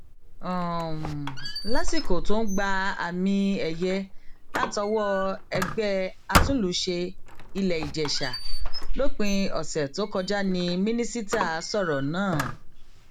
um lásìkò tó ń gba àmìẹyẹ látọwọ ẹgbẹ um àtúnlùṣe iléìjèṣà lópin ọsẹ tó kọjá ní mínísítà sọrọ náà